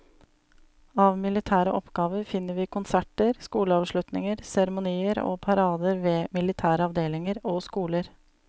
Av militære oppgaver finner vi konserter, skoleavslutninger, seremonier og parader ved militære avdelinger og skoler.